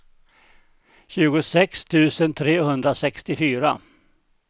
tjugosex tusen trehundrasextiofyra